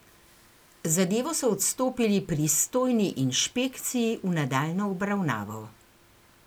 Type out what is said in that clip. Zadevo so odstopili pristojni inšpekciji v nadaljnjo obravnavo.